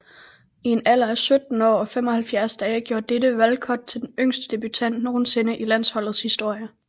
I en alder af 17 år og 75 dage gjorde dette Walcott til den yngste debutant nogensinde i landsholdets historie